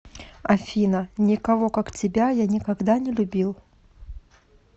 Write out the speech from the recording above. афина никого как тебя я никогда не любил